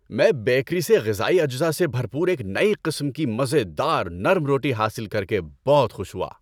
میں بیکری سے غذائی اجزاء سے بھرپور ایک نئی قسم کی مزے دار نرم روٹی حاصل کر کے بہت خوش ہوا۔